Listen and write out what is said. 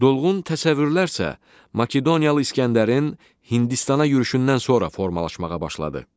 Dolğun təsəvvürlər isə Makedoniyalı İsgəndərin Hindistana yürüşündən sonra formalaşmağa başladı.